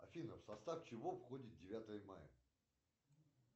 афина в состав чего входит девятое мая